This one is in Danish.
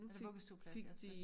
Eller vuggestueplads ja tak